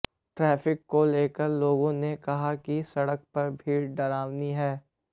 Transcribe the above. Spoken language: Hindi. ट्रैफिक को लेकर लोगों ने कहा कि सड़क पर भीड़ डरावनी है